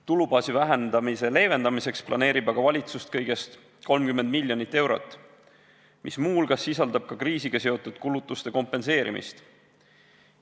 Tulubaasi vähendamise leevendamiseks planeerib aga valitsus kõigest 30 miljonit eurot, mis muu hulgas sisaldab kriisiga seotud kulutuste kompenseerimist.